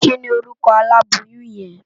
Kini órùkò àlábóyùn yèn?